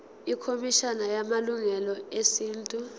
ikhomishana yamalungelo esintu